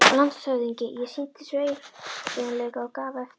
LANDSHÖFÐINGI: Ég sýndi sveigjanleika og gaf eftir.